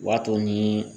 O b'a to ni